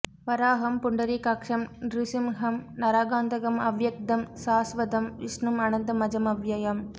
வராஹம் புண்டரீகாக்ஷம் ந்ருஸிம்ஹம் நரகாந்தகம் அவ்யக்தம் ஸாஸ்வதம் விஷ்ணும் அனந்த மஜமவ்யயம்